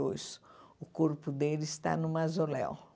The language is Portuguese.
dois. O corpo dele está no mausoléu.